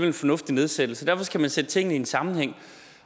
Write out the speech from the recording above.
en fornuftig nedsættelse derfor skal man sætte tingene ind i en sammenhæng